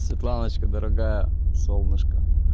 светланочка дорогая солнышко